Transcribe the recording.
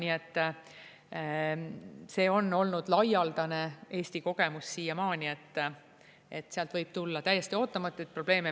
Nii et see on olnud laialdane Eesti kogemus siiamaani, et sealt võib tulla täiesti ootamatuid probleeme.